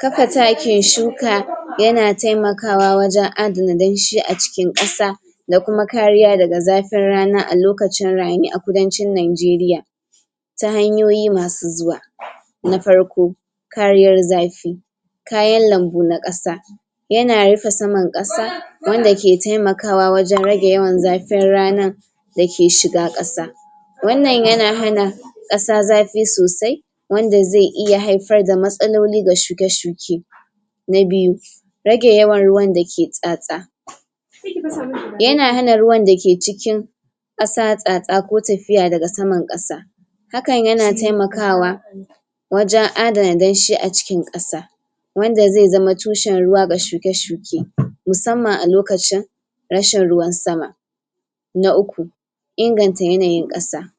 Kafa takin shuka yana taimakawa wajen adana danshi a cikin ƙasa da kuma kariya daga zafin rana a lokacin rani a kudancin Nijeria ta hanyoyi masu zuwa na farko kariyar zafi kayan lambu na ƙasa yana rufe saman ƙasa wanda ke taimakawa wajen rage yawan zafin ranan dake shiga ƙasa wannan yana hana ƙasa zafi sosai wanda zai iya haifar da matsaloli ga shuke-shuke na biyu rage yawan ruwan dake tsatsa? yana hana ruwan da ke cikin ƙasa tsatsa ko tafiya daga saman ƙasa hakan yana taimakawa wajen adana danshi a cikin ƙasa wanda zai zama tushen ruwa ga shuke-shuke musamman a lokacin rashin ruwan sama na uku inganta yanayin ƙasa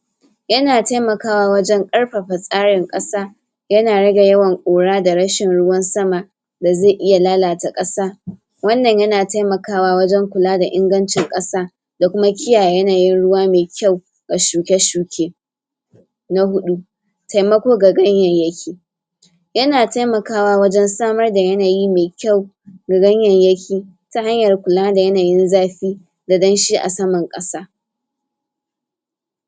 yana taimakawa wajen ƙarfafa tsarin ƙasa yana rage yawan Kura da rashin ruwan sama da zai iya lalata ƙasa wannan yana taimakawa wajen kula da ingancin ƙasa da kuma kiyaye yanayin ruwa mai kyau ga shuke shuke na huɗu taimako ga ganyayyaki yana taimakawa wajen samar da yanayi mai kyau ga ganyayyaki ta hanyar kula da yanayin zafi da danshi a saman ƙasa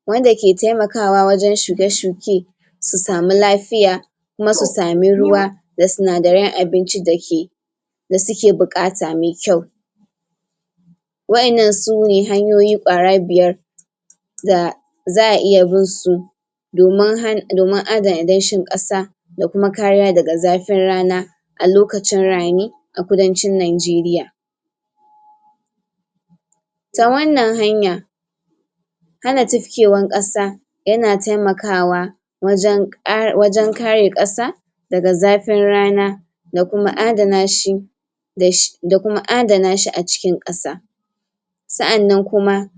wanda ke taimakawa wajen shuke shuke su sami lafiya kuma su sami ruwa da sinadaran abincin dake da suke buƙata mai kyau waɗannan sune hanyiyi ƙwara biyar da za a iya binsu domin han, domin adana danshin ƙasa da kuma kariya daga zafin a lokacin rani a kudancin Nijeriya ta wannan hanyar hana tifkewar ƙasa yana taimakawa wajen ƙare.. wajen kare ƙasa daga zafin rana da kuma adana shi dashi... da kuma adanashi a cikin ƙasa sa'annan kuma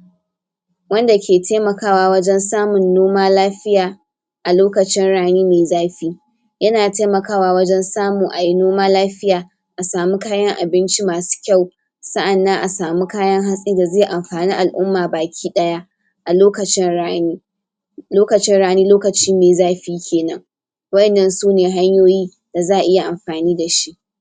wanda ke taimkawa wajen samun noma lafiya a lokacin rani mai zafi yana taimakawa wajen samu ayi noma lafiya a samu kayan abinci masu kyau sa'annan a samu kayan hatsi da zai amfani al'umman baki ɗaya a lokacin rani lokacin rani lokaci mai zafi kenan waɗannan sune hanyoyi da za a iya amfani dashi.